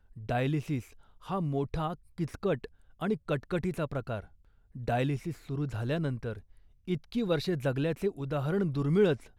Dialysis हा मोठा किचकट आणि कटकटीचा प्रकार. डायलिसीस सुरू झाल्यानंतर इतकी वर्षे जगल्याचे उदाहरण दुर्मिळच